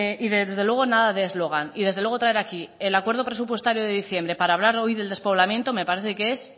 y desde luego nada de eslogan y desde luego traer aquí el acuerdo presupuestario de diciembre para hablar del despoblamiento me parece que es